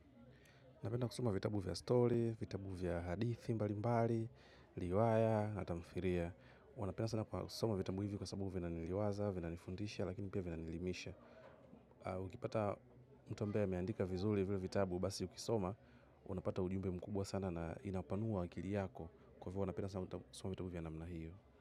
Napenda kusoma vitabu vya story, vitabu vya hadithi, mbali mbali, riwaya, na tamthilia. Huwa napenda sana kusoma vitabu hivi kwa sababu vina niliwaza, vina nifundisha, lakini pia vina nielimisha. Ukipata mtu ambae ameandika vizuri vile vitabu, basi ukisoma, unapata ujumbe mkubwa sana na inapanua akili yako. Kwa hivo huwa napenda sana kusoma vitabu vya namna hiyo.